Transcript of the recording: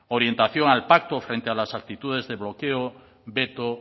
orientación al pacto frente a las actitudes de bloqueo veto